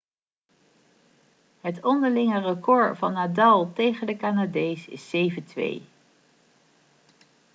het onderlinge record van nadal tegen de canadees is 7-2